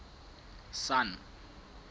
sun